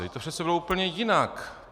Vždyť to přece bylo úplně jinak.